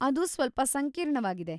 ಅದು ಸ್ವಲ್ಪ ಸಂಕೀರ್ಣವಾಗಿದೆ.